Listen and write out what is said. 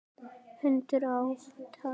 Hundur át hann.